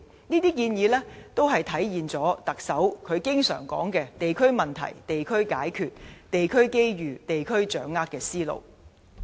這些建議均體現特首經常說"地區問題地區解決、地區機遇地區掌握"的思路。